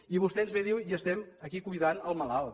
i vostè ens ve i diu estem aquí cuidant el malalt